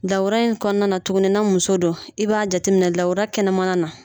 Dawura in kɔnɔna na tuguni na muso do i b'a jate minɛ lawura kɛnɛmana na.